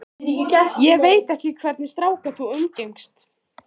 Ég veit ekki hvernig stráka þú umgengst.